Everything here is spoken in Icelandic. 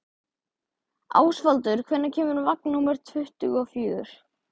Ásvaldur, hvenær kemur vagn númer tuttugu og fjögur?